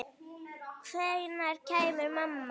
Hvenær kemur mamma?